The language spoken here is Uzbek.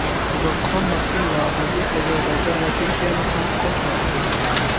Qozog‘iston mazkur loyihaga Ozarbayjon va Turkiyani ham qo‘shmoqchi.